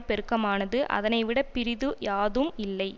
பெருக்கமானது அதனைவிடப் பிறிது யாதும் இல்லை